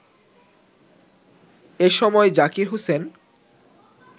এ সময় জাকির হোসেন